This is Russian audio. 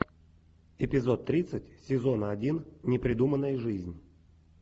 эпизод тридцать сезона один непридуманная жизнь